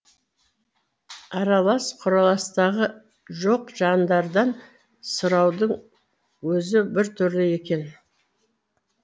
аралас құраластығы жоқ жандардан сұраудың өзі біртүрлі екен